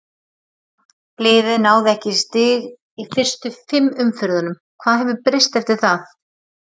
Liðið náði ekki í stig í fyrstu fimm umferðunum, hvað hefur breyst eftir það?